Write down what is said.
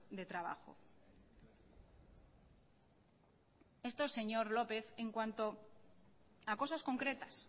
de trabajo esto señor lópez en cuanto a cosas concretas